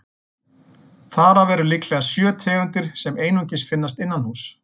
Þar af eru líklega sjö tegundir sem einungis finnast innanhúss.